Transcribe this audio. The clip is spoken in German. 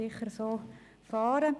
Wir werden sicher so vorgehen.